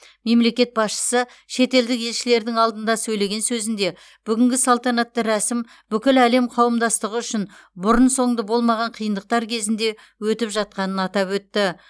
мемлекет басшысы шетелдік елшілердің алдында сөйлеген сөзінде бүгінгі салтанатты рәсім бүкіл әлем қауымдастығы үшін бұрын соңды болмаған қиындықтар кезінде өтіп жатқанын атап өтті